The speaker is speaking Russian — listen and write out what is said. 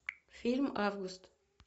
фильм август